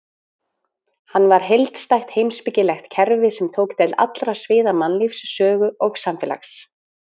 Hann var heildstætt heimspekilegt kerfi sem tók til allra sviða mannlífs, sögu og samfélags.